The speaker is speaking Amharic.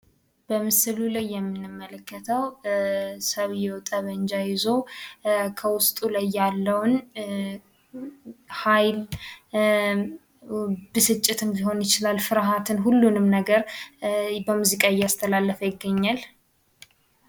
በምስሉ ላይ የምንመለከተው ሰውየው ጠብመንጃ ይዞ ከውስጥ ላይ የለውን ሃይል ፣ ብስጭትም ሊሆን ይችላል። ፍርሃትን ሁሉንም ነገር በሙዚቃ እያስተላለፈ ይገኛል።